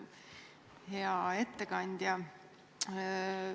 Hea ettekandja!